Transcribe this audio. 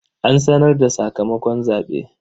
An sanar da sakamakon zaɓe.